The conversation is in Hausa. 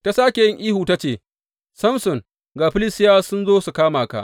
Ta sāke yin ihu ta ce, Samson ga Filistiyawa sun zo su kama ka.